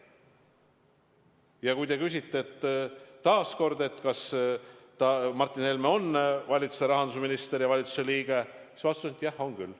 Ja kui te küsite taas, kas Martin Helme on valitsuse rahandusminister ja valitsuse liige, siis vastus on, et jah, on küll.